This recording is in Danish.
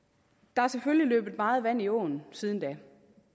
der er selvfølgelig løbet meget vand i åen siden da